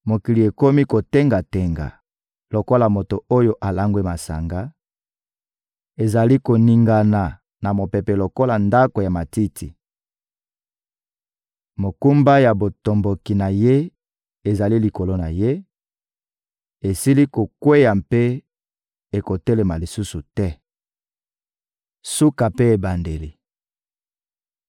Mokili ekomi kotenga-tenga lokola moto oyo alangwe masanga, ezali koningana na mopepe lokola ndako ya matiti. Mokumba ya botomboki na ye ezali likolo na ye, esili kokweya mpe ekotelema lisusu te. Suka mpe ebandeli